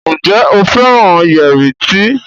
Njé o féràn Yẹrí tí?